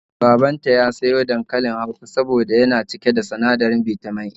Babanta ya sayo dankalin Hausa da yawa soboda yana cike da sinadirin Bitamin A